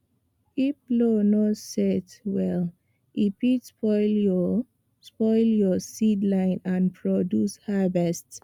if plow no set well e fit spoil your spoil your seed line and reduce harvest